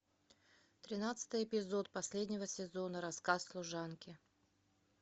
тринадцатый эпизод последнего сезона рассказ служанки